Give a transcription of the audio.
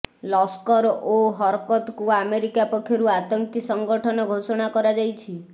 ଲସ୍କର ଓ ହରକତକୁ ଆମେରିକା ପକ୍ଷରୁ ଆତଙ୍କୀ ସଂଗଠନ ଘୋଷଣା କରାଯାଇଛି